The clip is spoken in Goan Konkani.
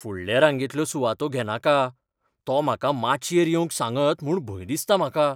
फुडले रांगेंतल्यो सुवातो घेनाका. तो म्हाका माचयेर येवंक सांगत म्हूण भंय दिसता म्हाका.